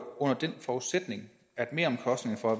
under den forudsætning at meromkostningerne for